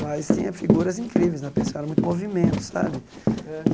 Mas tinha figuras incríveis na pensão, era muito movimento, sabe?